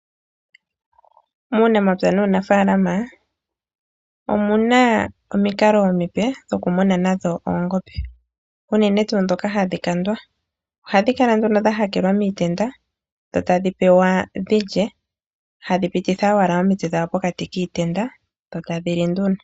Muunamapya nuunimuna omuna omukalo omupe gwokumuna oongombe. Ohadhi kala dha hakelwa miitenda nuuna tadhi pewa iikulya omutse ohagu kala gwapitako dho tadhi pewa nduno.